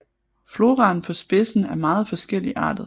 Floraen på spidsen er meget forskelligartet